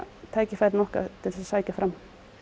tækifærin okkar til þess að sækja fram